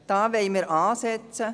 Dort wollen wir ansetzen.